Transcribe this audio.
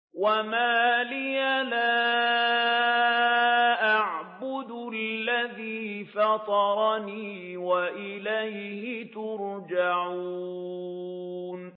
وَمَا لِيَ لَا أَعْبُدُ الَّذِي فَطَرَنِي وَإِلَيْهِ تُرْجَعُونَ